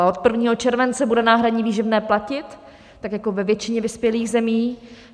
A od 1. července bude náhradní výživné platit tak jako ve většině vyspělých zemí.